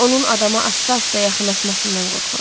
Onun adama asta-asta yaxınlaşmasından qorxuram.